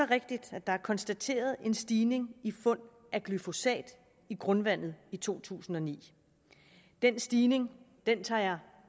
rigtigt at der er konstateret en stigning i fund af glyfosat i grundvandet i to tusind og ni den stigning tager jeg